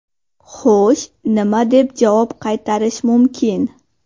Xo‘sh nima deb javob qaytarish mumkin?